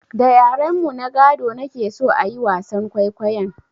Da yaren mu na gado na ke so a yi wasan kwaikwayon